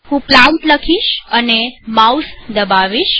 હું પ્લાન્ટ લખીશ અને માઉસ દબાવીશ